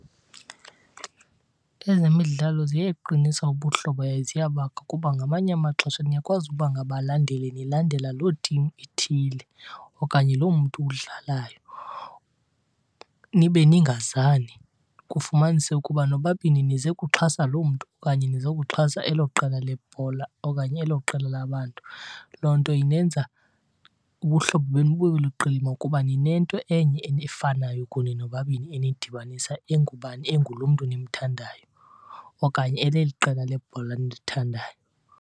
Ezemidlalo ziyeqinisa ubuhlobo yaye ziyabakha kuba ngamanye amaxesha niyakwazi ukuba ngabalandeli nilandela loo team ithile okanye loo mntu udlalayo nibe ningazani. Kufumaniseke ukuba nobabini nize kuxhasa loo mntu okanye nize kuxhasa elo qela lebhola okanye elo qela labantu. Loo nto inenza ubuhlobo benu bube luqilima kuba ninento enye efanayo kunye nobabini enidibanisayo, engubani, engulo mntu nimthandayo okanye eleli qela lebhola nilithandayo.